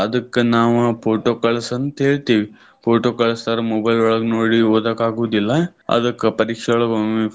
ಅದಕ್ಕ್ ನಾವ photo ಕಳ್ಸಂತ ಹೇಳ್ತಿವಿ. Photo ಕಳಸ್ತಾರ್ mobile ಒಳಗ ನೋಡಿ ಓದಾಕ್ ಆಗುದಿಲ್ಲಾ ಅದಕ್ಕ್ ಪರೀಕ್ಷೆ ಒಳಗ ಒಮ್ಮೊಮ್ಮೆ.